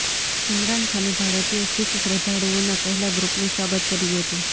ઈમરાન ખાને ભારતીય શીખ શ્રદ્ધાળુઓના પહેલા ગ્રુપનું સ્વાગત કર્યું હતું